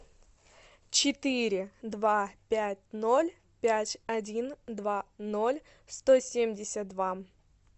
четыре два пять ноль пять один два ноль сто семьдесят два